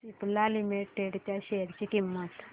Cipla limited च्या share ची किंमत